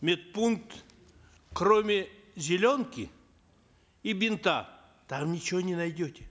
медпункт кроме зеленки и бинта там ничего не найдете